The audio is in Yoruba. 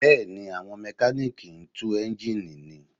Bẹ́ẹ̀ni, àwọn Mẹkáníìkì ń tú eńjíìnì ni